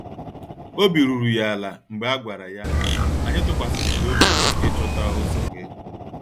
Obi ruru ya ala mgbe a gwara ya, "Anyị tụkwasịrị gị obi ịchọta ụzọ gị."